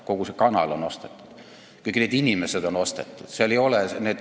Kogu see kanal on ostetud, kõik need inimesed on ostetud.